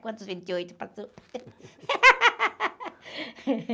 Quantos vinte e oito passou?